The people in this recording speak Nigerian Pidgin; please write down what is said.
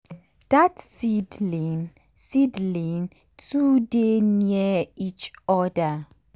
dat seedling seedling too dey near each other.